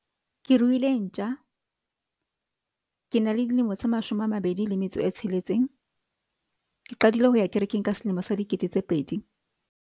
Ke ruile ntjha. Ke na le dilemo tse mashome a mabedi le metso e tsheletseng. Ke qadile ho ya kerekeng ka selemo sa dikete tse pedi.